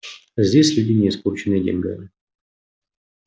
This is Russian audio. а здесь люди не испорченные деньгами